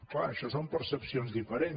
clar això són percepcions diferents